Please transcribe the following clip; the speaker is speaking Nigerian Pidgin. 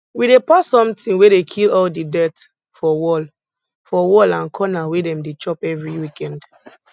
we dey pour something wey dey kill all the dirt for wall for wall and corner wey dem dey chop every weekend